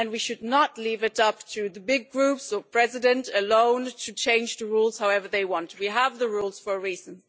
We should not leave it up to the big Groups or the President alone to change the rules however they want. We have the rules for a reason.